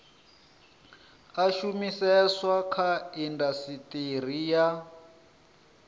a shumiseswa kha indasiteri ya